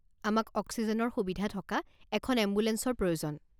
আমাক অক্সিজেনৰ সুবিধা থকা এখন এম্বুলেঞ্চৰ প্ৰয়োজন।